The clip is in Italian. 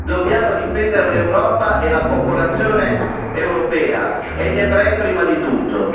Dobbiamo difendere l'Europa e la popolazione europea e gli ebrei prima di tutto.